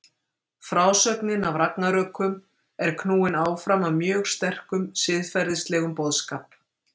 Frásögnin af ragnarökum er knúin áfram af mjög sterkum siðferðislegum boðskap.